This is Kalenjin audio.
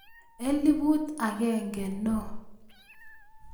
Elfut agenge no